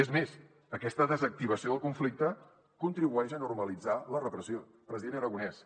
és més aquesta desactivació del conflicte contribueix a normalitzar la repressió president aragonès